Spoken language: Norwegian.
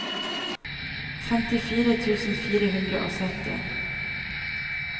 femtifire tusen fire hundre og sytti